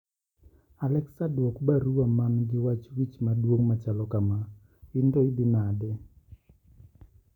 Alexa duok baruwa man gi wach wich maduong' machalo kama ,in to idhi nade?